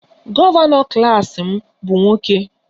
Gọvanọ klas m bụ nwoke